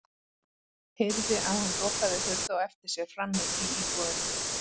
Heyrði að hann lokaði hurð á eftir sér frammi í íbúðinni.